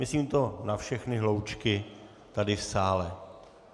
Myslím to na všechny hloučky tady v sále.